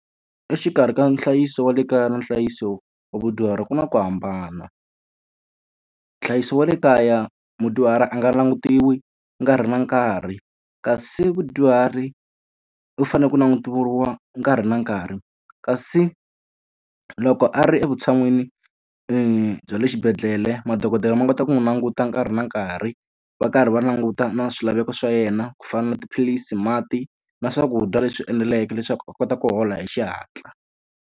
Exikarhi ka nhlayiso wa le kaya na nhlayiso wa vadyuhari ku na ku hambana. Nhlayiso wa le kaya mudyuhari a nga langutisiwi nkarhi na nkarhi, kasi vadyuhari u fanele ku langutiwa nkarhi na nkarhi. Kasi loko a ri e vutshan'wini bya le xibedhlele madokodela ma kota ku n'wi languta nkarhi na nkarhi, va karhi va languta na swilaveko swa yena. Ku fana na tiphilisi, mati na swakudya leswi eneleke leswaku a kota ku hola hi xihatla.